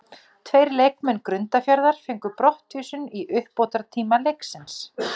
Tveir leikmenn Grundarfjarðar fengu brottvísun í uppbótartíma leiksins.